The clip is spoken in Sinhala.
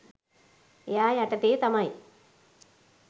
එයා යටතේ තමයි